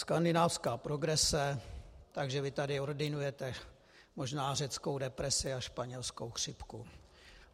Skandinávská progrese - takže vy tady ordinujete možná řeckou depresi a španělskou chřipku.